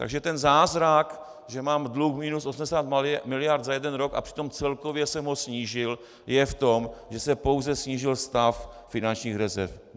Takže ten zázrak, že mám dluh minus 80 miliard za jeden rok a přitom celkově jsem ho snížil, je v tom, že se pouze snížil stav finančních rezerv.